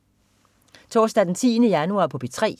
Torsdag den 10. januar - P3: